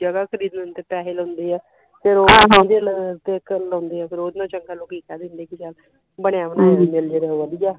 ਜਗਾ ਖਰੀਦਣ ਤੇ ਪੈਸੇ ਲਾਉਂਦੇ ਆ ਤੇ ਫਿਰ ਕੀ ਚੱਲ ਬਣਿਆ ਬਣਾਇਆ ਮਿਲਜੇ ਤੇ ਸਗੋਂ ਵਧੀਆ।